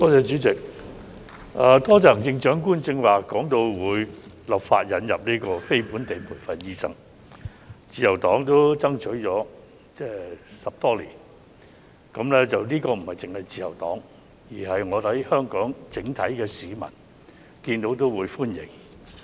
主席，多謝行政長官剛才提到會立法引入非本地培訓醫生，自由黨爭取了10多年，這不單是自由黨的訴求，我相信香港整體市民也會歡迎。